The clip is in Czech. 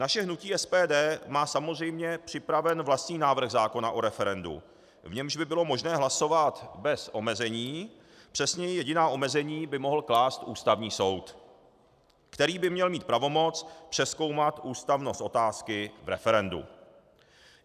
Naše hnutí SPD má samozřejmě připraven vlastní návrh zákona o referendu, v němž by bylo možné hlasovat bez omezení, přesněji jediná omezení by mohl klást Ústavní soud, který by měl mít pravomoc přezkoumat ústavnost otázky v referendu.